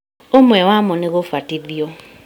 ũmwe wamo nĩ gũbatithio